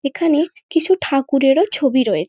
এখানে কিছু ঠাকুরেরও ছবি রয়ে--